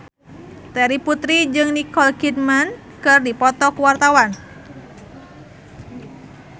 Terry Putri jeung Nicole Kidman keur dipoto ku wartawan